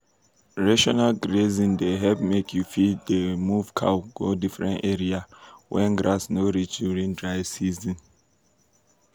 rotational grazing dey help make you fit dey move cow go different area when grass no reach during dry season.